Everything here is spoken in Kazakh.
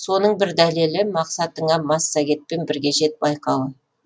соның бір дәлелі мақсатыңа массагетпен бірге жет байқауы